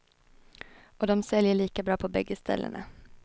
Och de säljer lika bra på bägge ställena.